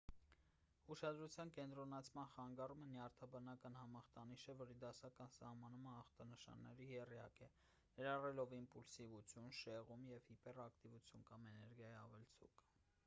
ուշադրության կենտրոնացման խանգարումը նյարդաբանական համախտանիշ է որի դասական սահմանումը ախտանշանների եռյակ է ներառելով իմպուլսիվություն շեղում և հիպերակտիվություն կամ էներգիայի ավելցուկ